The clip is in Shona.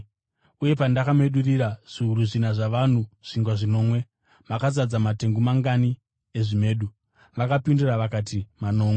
“Uye pandakamedurira zviuru zvina zvavanhu zvingwa zvinomwe, makazadza matengu mangani ezvimedu?” Vakapindura vakati, “Manomwe.”